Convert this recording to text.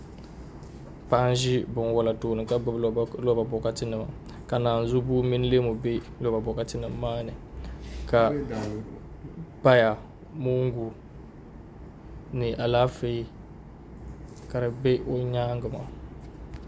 Paɣa n ʒi binwola tooni ka gbubi loba bokatinima ka naan zu bua mini leeu be bokanima maa ni ka paya moongu ni alaafee ka di bɛ o nyaanga maa